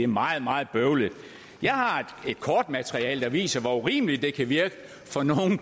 meget meget bøvlet jeg har et kortmateriale der viser hvor urimeligt det kan virke